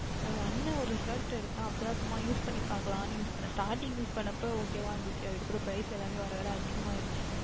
அது அண்ணன் ஓர் Shirt எடுத்தார் அப்பொழுது தான் சும்மா Use பண்ணி பார்க்கலாம் என்று Use பண்ணினேன் StartingUse பண்ணு பொழுது Ok வாக இருந்தது அதற்கு அப்புறம் Price எல்லாம் வர வர அதிகம் ஆகிவிட்டது